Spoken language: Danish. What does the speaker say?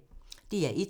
DR1